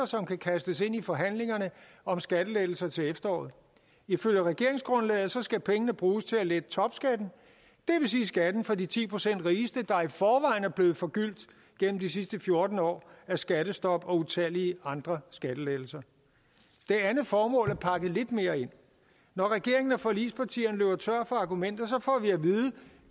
som kan kastes ind i forhandlingerne om skattelettelser til efteråret ifølge regeringsgrundlaget skal pengene bruges til at lette topskatten det vil sige skatten for de ti procent rigeste der i forvejen er blevet forgyldt gennem de sidste fjorten år af skattestop og utallige andre skattelettelser det andet formål er pakket lidt mere ind når regeringen og forligspartierne løber tør for argumenter får vi at vide